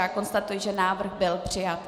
Já konstatuji, že návrh byl přijat.